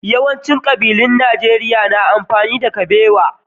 Mafi yawancin kabilun Najeriya na amfani da kubewa.